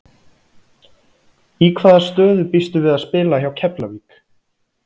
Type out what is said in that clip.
Í hvaða stöðu býstu við að spila hjá Keflavík?